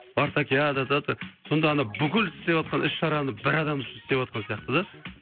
сонда ана бүкіл істеватқан іс шараны бір адам үшін істеватқан сияқты да